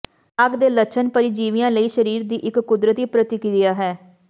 ਲਾਗ ਦੇ ਲੱਛਣ ਪਰਜੀਵੀਆਂ ਲਈ ਸਰੀਰ ਦੀ ਇੱਕ ਕੁਦਰਤੀ ਪ੍ਰਤੀਕ੍ਰੀਆ ਹੈ